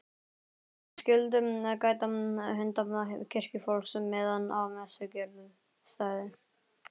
Guðmundur skyldu gæta hunda kirkjufólks meðan á messugjörð stæði.